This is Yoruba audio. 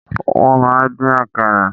Wọ́n máa ń dín Àkàrà.